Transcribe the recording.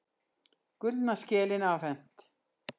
Gullna skelin afhent